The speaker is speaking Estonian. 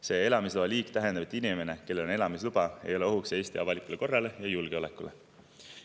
See elamisloa liik tähendab, et inimene, kellel on see elamisluba, ei ole ohuks Eesti avalikule korrale ja julgeolekule.